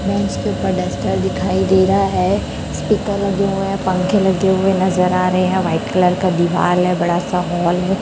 Duster दिखाई दे रहा है स्पीकर लगे हुए हैं पंखे लगे हुए नजर आ रहे हैं व्हाइट कलर का दिवाल है बड़ा सा हॉल है।